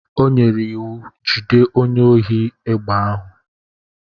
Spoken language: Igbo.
O nyere iwu, jide onye ohi egbe ahụ.